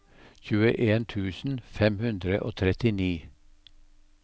tjueen tusen fem hundre og trettini